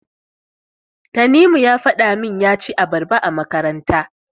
Tanimu ya faɗa min ya ci abarba a makaranta.